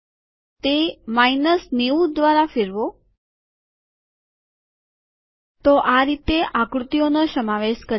તે માયનસ ૯૦ દ્વારા ફેરવો તો આ રીતે આકૃતિઓ નો સમાવેશ કરી શકાય